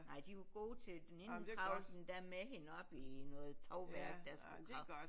Nej de var gode til det den ene hun kravlede endda med hende op i noget tovværk der skulle